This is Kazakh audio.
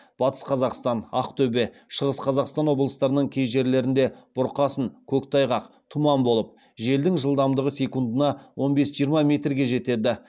батыс қазақстан ақтөбе шығыс қазақстан облыстарының кей жерлеріңде бұрқасын көктайғақ тұман болып желдің жылдамдығы секундына орн бес жиырма метрге жетеді